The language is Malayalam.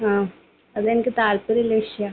ആ. അതെനിക്ക് താല്പര്യമുള്ള വിഷയമാണ്.